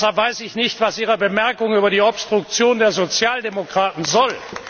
Deshalb weiß ich nicht, was Ihre Bemerkung über die Obstruktion der Sozialdemokraten soll.